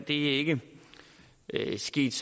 er ikke sket